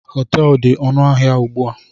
Họteelu dị ọnụ ahịa ugbu a